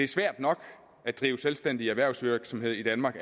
svært nok at drive selvstændig erhvervsvirksomhed i danmark